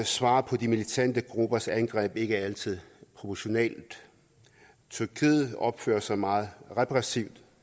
svar på de militante gruppers angreb ikke altid proportionalt tyrkiet opfører sig meget repressivt